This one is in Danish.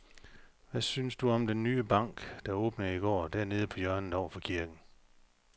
Hvad synes du om den nye bank, der åbnede i går dernede på hjørnet over for kirken?